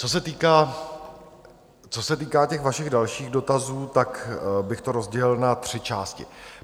Co se týká těch vašich dalších dotazů, tak bych to rozdělil na tři části.